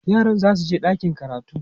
yaran zasu je ɗakin karatu